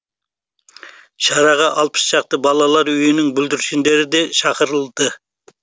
шараға алпыс шақты балалар үйінің бүлдіршіндері де шақырылды